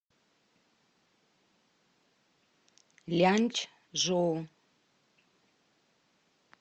ляньчжоу